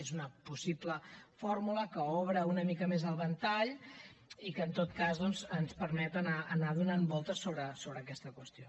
és una possible fórmula que obre una mica més el ventall i que en tot cas doncs ens permet anar donant voltes sobre aquesta qüestió